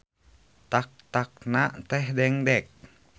Tak-takna teh dengdek.